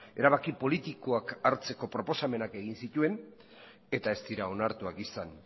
erabaki politikoak hartzeko proposamenak egin zituen eta ez dira onartuak izan